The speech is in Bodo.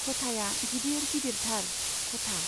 खथाया गिदिर गिदिरथार , खथा।